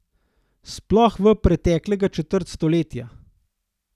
Sploh v preteklega četrt stoletja.